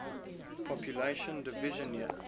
population division year